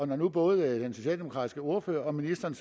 når nu både den socialdemokratiske ordfører og ministeren